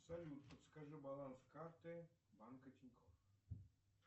салют подскажи баланс карты банка тинькофф